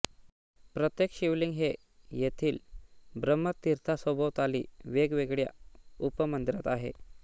प्रत्येक शिवलिंग हे येथील ब्रह्मतीर्थासभोवताली वेगवेगळ्या उपमंदिरांत आहे